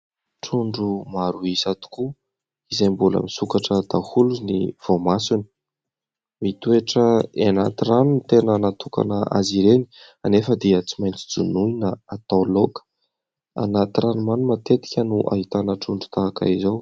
Trondro maro isa tokoa izay mbola misokatra daholo ny voamasony mitoetra anaty rano ny tena natokana azy ireny anefa dia tsy maintsy jonoina atao loaka. Anaty ranomamy matetika no ahitana trondro tahaka izao